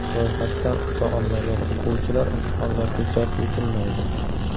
Ro‘yxatdan o‘ta olmagan o‘quvchilar imtihonlarga jalb etilmaydi!